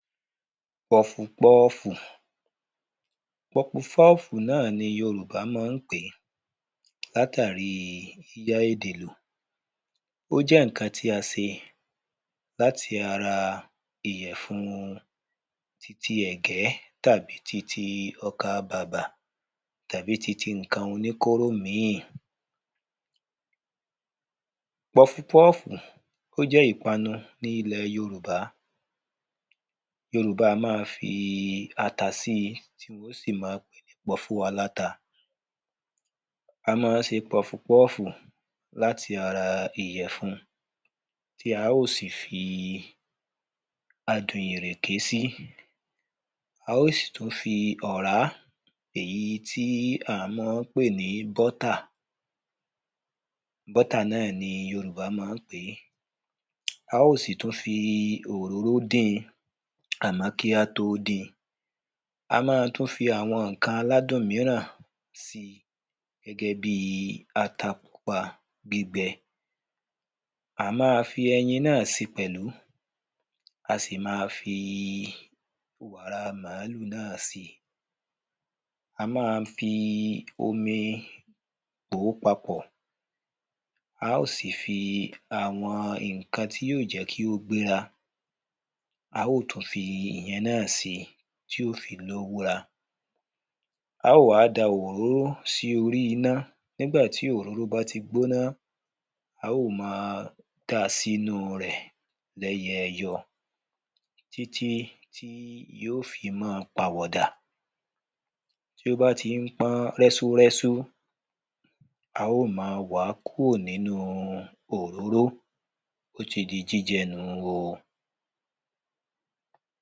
pọfupọ́ọ̀fù. pọgbupọ́ọ̀fù náà ni yorùbá mọ ń pèé, látàríi yíyá èdè lò. ó jẹ́ ǹkan tí a se láti ara ìyẹ̀fun titi ẹ̀gbẹ́, tàbí titi ọkàbàbà, tàbí titi ǹkan oníkóró míì. pọfupọ́ọ̀fù, ó jẹ́ ípanu ní ilẹ̀ yorùbá. yorùbá a máa fii ata sí tí wọ́n ó sì ma pè é ní pọ́fú aláta. a ma ń ṣe pọfupọ́ọ̀fù láti ara ìyẹ̀fun tí a ó sì fi adùn irèkè sí, a ó sì tún fi ọ̀rá, èyí tí àá mọọ́ pè ní bọ́tà, bọ́tà náà ni yorùbá maá pè é, a ó sì tún fii òróró dín-in, àmọ́ kí a tó din, a ma tún fi àwọn ǹkan aládùn míràn si, gẹ́gẹ́ bíi ata pupa gbígbẹ, àá ma fi ẹyin náà si pẹ̀lú, a sì máa fii wàra màlúù náà si, a máa fii omi pò ó papọ̀, a ó sì fii àwọn ǹkan tí yíò jẹ́ kí ó gbéra, a óò tún fi ìyẹn náà si, tí óò fi lówúra, a óò wá da òróró sí órí iná, nígbà tí òróró báti gbóná, a óò máa dáa sínúu rẹ̀ lẹ́yẹyọ, títí tí yíò fi mọ́ọ pàwọ̀ dà, tí ó bá ti ń pọ́n rẹ́súrẹ́sú, a ó ma wàá kóò nínu òróró, ó ti di jíjẹ nù-un o.